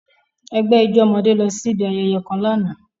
Egbe ijo ọmọde losi ibi ayẹyẹ kan làná.